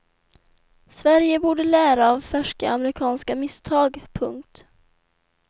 Sverige borde lära av färska amerikanska misstag. punkt